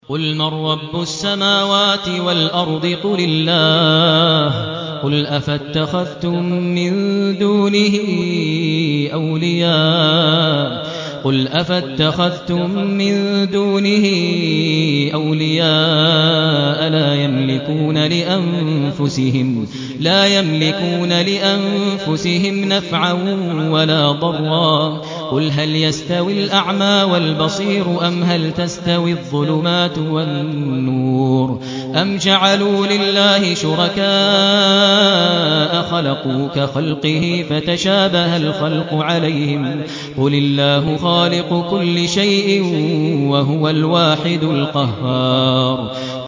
قُلْ مَن رَّبُّ السَّمَاوَاتِ وَالْأَرْضِ قُلِ اللَّهُ ۚ قُلْ أَفَاتَّخَذْتُم مِّن دُونِهِ أَوْلِيَاءَ لَا يَمْلِكُونَ لِأَنفُسِهِمْ نَفْعًا وَلَا ضَرًّا ۚ قُلْ هَلْ يَسْتَوِي الْأَعْمَىٰ وَالْبَصِيرُ أَمْ هَلْ تَسْتَوِي الظُّلُمَاتُ وَالنُّورُ ۗ أَمْ جَعَلُوا لِلَّهِ شُرَكَاءَ خَلَقُوا كَخَلْقِهِ فَتَشَابَهَ الْخَلْقُ عَلَيْهِمْ ۚ قُلِ اللَّهُ خَالِقُ كُلِّ شَيْءٍ وَهُوَ الْوَاحِدُ الْقَهَّارُ